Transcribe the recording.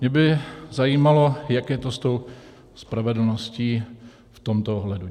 Mě by zajímalo, jak je to s tou spravedlností v tomto ohledu.